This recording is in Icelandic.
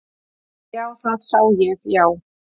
Já, það sá ég já.